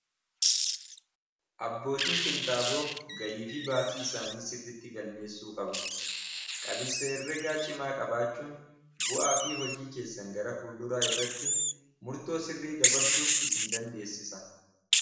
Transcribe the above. Abbootiin qinxaaboo galii fi baasii isaanii sirriitti galmeessuu qabu. Qabiinsa herregaa cimaa qabaachuun bu'aa fi hojii keessan gara fulduraa irratti murtoo sirrii dabarsuuf isin dandeessisa.